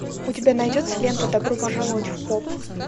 у тебя найдется лента добро пожаловать в поп